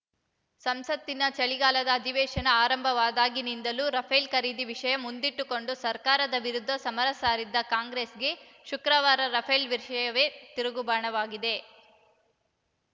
ಸಂಸತ್ತಿನ ಚಳಿಗಾಲದ ಅಧಿವೇಶನ ಆರಂಭವಾದಾಗಿನಿಂದಲೂ ರಫೇಲ್‌ ಖರೀದಿ ವಿಷಯ ಮುಂದಿಟ್ಟುಕೊಂಡು ಸರ್ಕಾರದ ವಿರುದ್ಧ ಸಮರ ಸಾರಿದ್ದ ಕಾಂಗ್ರೆಸ್‌ಗೆ ಶುಕ್ರವಾರ ರಫೇಲ್‌ ವಿಷಯವೇ ತಿರುಗುಬಾಣವಾಗಿದೆ